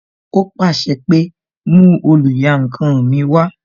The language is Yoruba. Ó pàṣẹ pé "mú oluyankan mi wá"